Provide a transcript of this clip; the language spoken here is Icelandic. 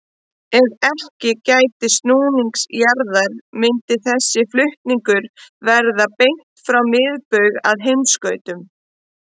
Ef ekki gætti snúnings jarðar myndi þessi flutningur vera beint frá miðbaug að heimskautunum.